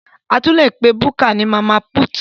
A tún lè pe búkà ní Mama put